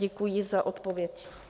Děkuji za odpověď.